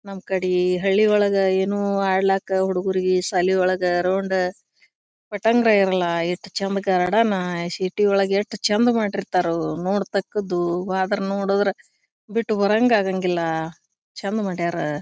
ನಮ್ಮ್ ಕಡಿ ಹಳ್ಳಿ ಒಳಗೆ ಏನೋ ಆಡ್ಲ್ಯಾಕೆ ಹುಡುಗರಿಗೆ ಶಾಲಿ ಒಳಗ ರೌಂಡ್ ಪಟ್ಟಂಗ್ರೇ ಎಲ್ಲ ಎಷ್ಟು ಚಂದ ಗಾರ್ಡನ್ ಸಿಟಿ ಒಳಗೆ ಎಷ್ಟು ಚಂದ ಮಾಡಿರ್ತಾರು ನೋಡತಕ್ಕದ್ದು ಆದರೆ ನೋಡಿದರೆ ಬಿಟ್ಟು ಬರಂಗ ಆಗಂಗಿಲ್ಲ ಚಂದ್ ಮಾಡ್ಯಾರ.